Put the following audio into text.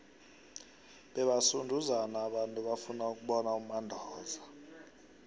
bebasunduzana abantu bafuna ukubona umandoza